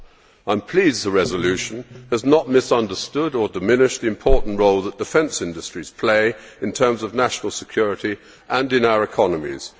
I am pleased the resolution has not misunderstood or diminished the important role that defence industries play in terms of national security and in our economies.